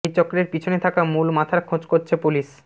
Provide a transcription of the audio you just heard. এই চক্রের পিছনে থাকা মূল মাথার খোঁজ করছে পুলিশ